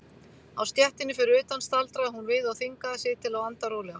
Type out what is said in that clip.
Á stéttinni fyrir utan staldraði hún við og þvingaði sig til að anda rólega.